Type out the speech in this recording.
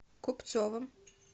купцовым